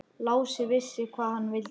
Lási vissi hvað hann vildi.